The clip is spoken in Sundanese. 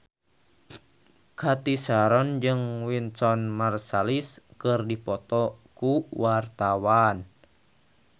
Cathy Sharon jeung Wynton Marsalis keur dipoto ku wartawan